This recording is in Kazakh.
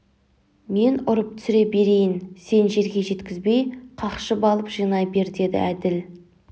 мен ұрып түсіре берейін сен жерге жеткізбей қақшып алып жинай бер деді әділ